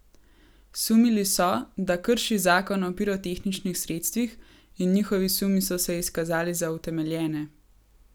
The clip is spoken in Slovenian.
Sumili so, da krši zakon o pirotehničnih sredstvih, in njihovi sumi so se izkazali za utemeljene.